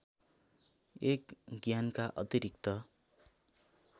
१ ज्ञानका अतिरिक्त